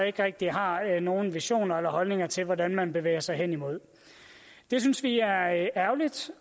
ikke rigtig har nogen visioner om eller holdninger til hvordan man bevæger sig hen imod det synes vi er ærgerligt